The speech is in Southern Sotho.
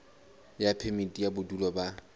ya phemiti ya bodulo ba